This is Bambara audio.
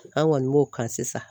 An kɔni b'o kan sisan.